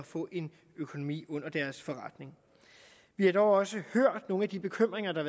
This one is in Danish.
få en økonomi under deres forretning vi har dog også hørt nogle af de bekymringer der